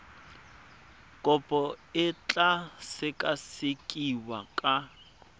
kopo e tla sekasekiwa ka